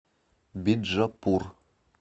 биджапур